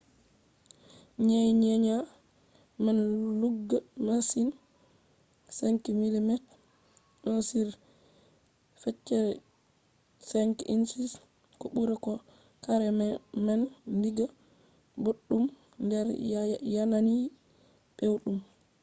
nyenya man lugga masin 5mm1/5 inch ko ɓura bo kareman digga boɗɗum nder yanayi pewɗum